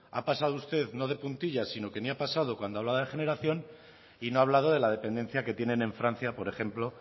ha pasado usted no de puntillas sino que ni ha pasado cuando habla de generación y no ha hablado de la dependencia que tienen en francia por ejemplo